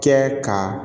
Kɛ ka